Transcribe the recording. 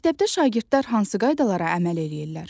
Məktəbdə şagirdlər hansı qaydalara əməl eləyirlər?